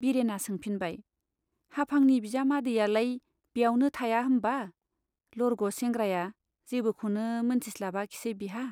बिरेना सोंफिनबाय, हाफांनि बिजामादैयालाय ब्यावनो थाया होम्बा? लरग' सेंग्राया जेबोखौनो मोनथिस्लाबाखिसै बिहा ?